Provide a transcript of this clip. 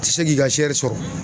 Ti se k'i ka sɔrɔ.